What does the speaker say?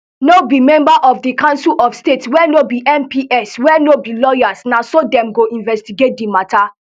no be members of di council of state wey no be mps wey no be lawyers na so dem go investigate di mata